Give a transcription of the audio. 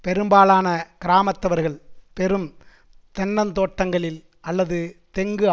பெரும்பாலான கிராமத்தவர்கள் பெரும் தென்னந் தோட்டங்களில் அல்லது தெங்கு